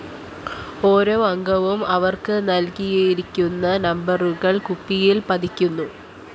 ഓരോ അംഗവും അവര്‍ക്ക് നല്‍കിയിരിക്കുന്ന നമ്പരുകള്‍ കുപ്പിയില്‍ പതിക്കുന്നു